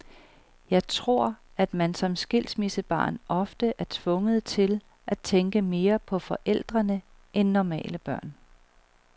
Jeg tror, at man som skilsmissebarn ofte er tvunget til at tænke mere på forældrene end normale børn.